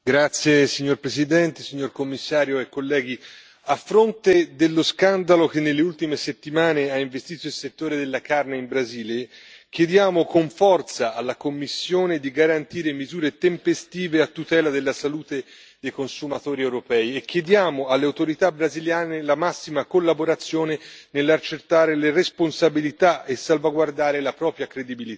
Signora Presidente, onorevoli colleghi, signor commissario, a fronte dello scandalo che nelle ultime settimane ha investito il settore della carne in Brasile, chiediamo con forza alla Commissione di garantire misure tempestive a tutela della salute dei consumatori europei, e chiediamo alle autorità brasiliane la massima collaborazione nell'accertare le responsabilità e salvaguardare la propria credibilità.